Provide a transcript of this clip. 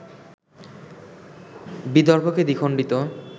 বিদর্ভকে দ্বিখন্ডিত